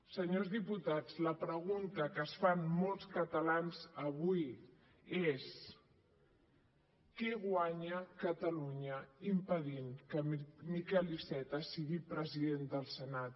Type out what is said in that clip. senyors diputats la pregunta que es fan molts catalans avui és què guanya catalunya impedint que miquel iceta sigui president del senat